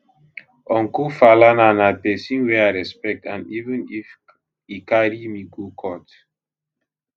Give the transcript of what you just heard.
uncle falana na pesin wey i respect and even if e carry me go court